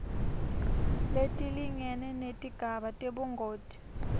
letilingene kutigaba tebungoti